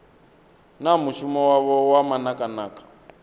na mushumo wavho wa manakanaka